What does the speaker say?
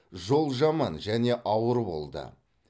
жол жаман және ауыр болды